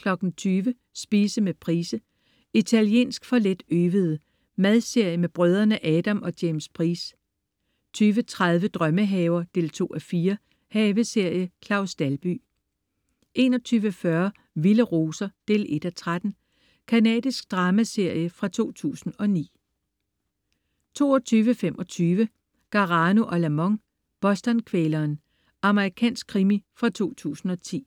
20.00 Spise med Price. "Italiensk for let-øvede". Madserie med brødrene Adam og James Price 20.30 Drømmehaver 2:4. Haveserie. Claus Dalby 21.40 Vilde roser 1:13. Canadisk dramaserie fra 2009 22.25 Garano & Lamont: Boston-kvæleren. Amerikansk krimi fra 2010